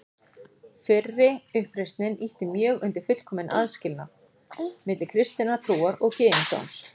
Fyrri uppreisnin ýtti mjög undir fullkominn aðskilnað milli kristinnar trúar og gyðingdóms.